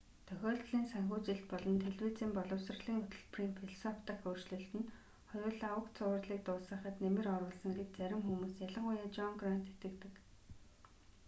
тохиолдлын санхүүжилт болон телевизийн боловсролын хөтөлбөрийн философи дахь өөрчлөлт нь хоёулаа уг цувралыг дуусгахад нэмэр оруулсан гэж зарим хүмүүс ялангуяа жон грант итгэдэг